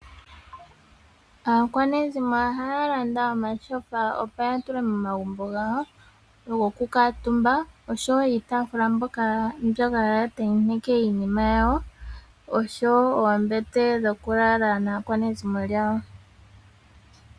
Aakwenizimo ohaya landa omachofa opo ya tule momagumbo gawo, go kukala omutumba, oshowo iitafula mbyoka haya ntenteke iinima yawo, osho wo oombete dho ku lala naa kwanezimo lyawo.